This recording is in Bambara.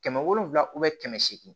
Kɛmɛ wolonwula kɛmɛ seegin